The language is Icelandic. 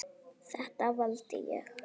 Þetta valdi ég.